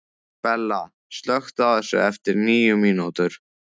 Bella, slökktu á þessu eftir níu mínútur.